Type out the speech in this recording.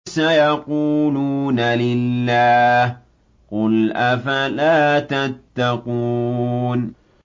سَيَقُولُونَ لِلَّهِ ۚ قُلْ أَفَلَا تَتَّقُونَ